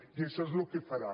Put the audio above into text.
i això és el que farà